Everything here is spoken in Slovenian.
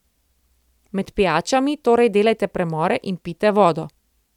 Med pijačami torej delajte premore in pijte vodo.